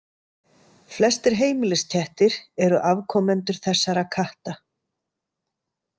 Flestir heimiliskettir eru afkomendur þessara katta.